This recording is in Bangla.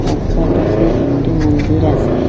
রাস্তার পাশে একটি মন্দির আসে।